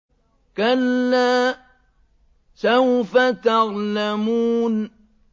كَلَّا سَوْفَ تَعْلَمُونَ